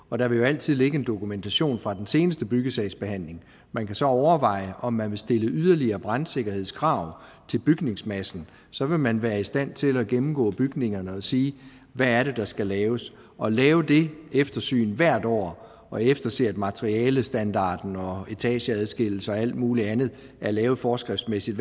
og der vil jo altid ligge en dokumentation fra den seneste byggesagsbehandling man kan så overveje om man vil stille yderligere brandsikkerhedskrav til bygningsmassen så vil man være i stand til at gennemgå bygningerne og sige hvad det er der skal laves at lave det eftersyn hvert år og efterse at materialestandarden og etageadskillelser og alt mulig andet er lavet forskriftsmæssigt